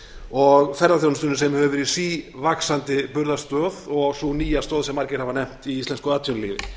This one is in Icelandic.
og ferðaþjónustunni sem hefur verið sívaxandi burðarstoð og sú nýja stoð sem margir hafa nefnt í íslensku atvinnulífi